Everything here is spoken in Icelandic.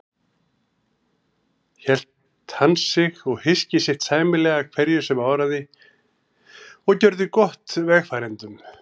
Hélt hann sig og hyski sitt sæmilega hverju sem áraði og gjörði gott vegfarendum.